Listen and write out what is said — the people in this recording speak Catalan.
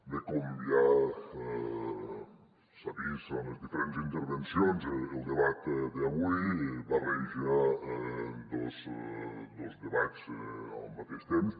bé com ja s’ha vist en les diferents intervencions el debat d’avui barreja dos debats al mateix temps